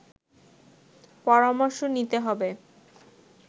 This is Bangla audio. পরামর্শ নিতে হবে